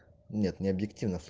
нет не объективно с